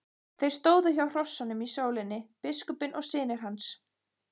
Þeir stóðu hjá hrossunum í sólinni, biskupinn og synir hans.